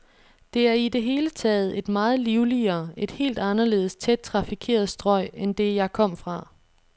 Det er i det hele taget et meget livligere, et helt anderledes tæt trafikeret strøg end det, jeg kom fra.